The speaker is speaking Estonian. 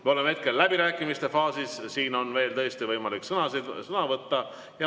Me oleme hetkel läbirääkimiste faasis, siin on veel võimalik sõna võtta.